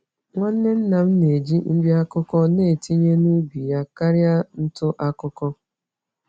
Nwanne nna m na-eji nri-akụkụ n'etinye n'ubi yá karịa ntụ-akụkụ